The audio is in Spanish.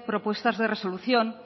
propuestas de resolución